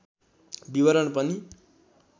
विवरण पनि